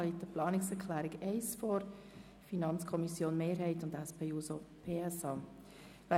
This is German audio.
Es liegt eine Planungserklärung der FiKo-Mehrheit und der SP-JUSOPSA-Fraktion vor.